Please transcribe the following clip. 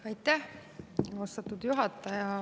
Aitäh, austatud juhataja!